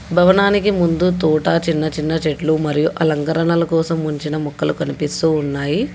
భవనానికి ముందు తోట చిన్న చిన్న చెట్లు మరియు అలంకరణల కోసం ఉంచిన మొక్కలు కనిపిస్తూ ఉన్నాయి.